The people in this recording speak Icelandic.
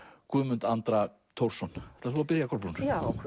Guðmund Andra Thorsson ætlar þú að byrja Kolbrún